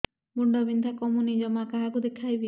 ମୁଣ୍ଡ ବିନ୍ଧା କମୁନି ଜମା କାହାକୁ ଦେଖେଇବି